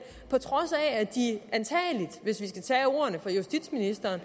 på trods af at de antagelig hvis vi skal tage justitsministeren